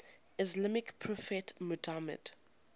islamic prophet muhammad